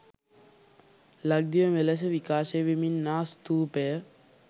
ලක්දිව මෙලෙස විකාශය වෙමින් ආ ස්තූපය